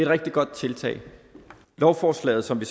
rigtig godt tiltag lovforslaget som vi